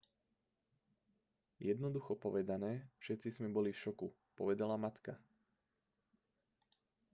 jednoducho povedané všetci sme boli v šoku povedala matka